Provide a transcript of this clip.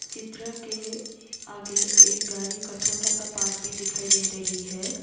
चित्र के आगे एक गाड़ी का छोटा सा पार्ट भी दिखाई दे रही है।